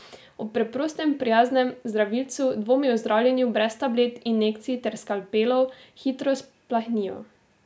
Ob preprostem, prijaznem zdravilcu, dvomi o zdravljenju brez tablet, injekcij ter skalpelov, hitro splahnijo.